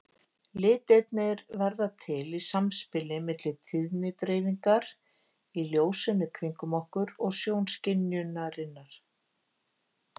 Litirnir verða til í samspili milli tíðnidreifingar í ljósinu kringum okkur og sjónskynjunarinnar.